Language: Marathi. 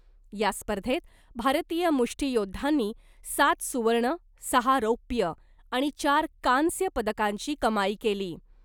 या स्पर्धेत भारतीय मुष्टियोद्धांनी सात सुवर्ण , सहा रौप्य आणि चार कांस्य पदकांची कमाई केली .